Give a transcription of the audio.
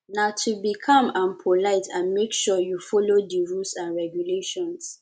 na to be calm and polite and make sure you follow di rules and regulations